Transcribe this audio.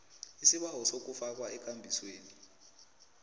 isibawo sokufakwa ekambisweni